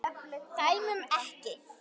Dæmum ekki.